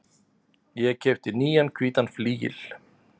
Ég keypti nýjan hvítan flygil.